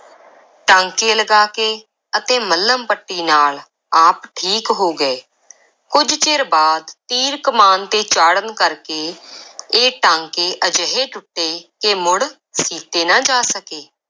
ਟਾਂਕੇ ਲਗਾ ਕੇ ਅਤੇ ਮੱਲਮ ਪੱਟੀ ਨਾਲ ਆਪ ਠੀਕ ਹੋ ਗਏ, ਕੁਝ ਚਿਰ ਬਾਅਦ, ਤੀਰ ਕਮਾਨ ਤੇ ਚਾੜ੍ਹਨ ਕਰਕੇ ਇਹ ਟਾਂਕੇ ਅਜਿਹੇ ਟੁੱਟੇ ਕਿ ਮੁੜ ਸੀਤੇ ਨਾ ਜਾ ਸਕੇ।